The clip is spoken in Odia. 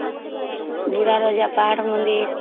ବୁଢା ରାଜା ପାହାଡ଼ ମନ୍ଦିର